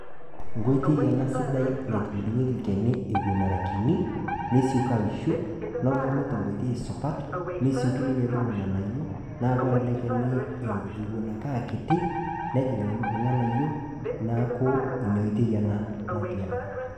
Nkoitoi ena sidai naitubulunyeki ilkene ewuen era kini nesioki aisho, nebulu tenkoitoi supat nesioki ninye aibung ilng'anayio, naa kore olekene ewuen akeakiti nejing' ilng'anayio, naaku inaoitoi ena natii ene.